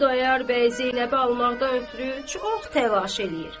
Xudayar bəy Zeynəbi almaqdan ötrü çox təlaş eləyir.